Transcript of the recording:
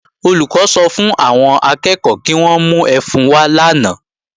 Olùkọ́ sọ fún àwọn akẹ́ẹ̀kọ́ kí wọ́n mú ẹfun wá lánàá